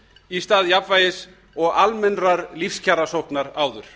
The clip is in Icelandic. í stað jafnvægis og almennrar lífskjarasóknar áður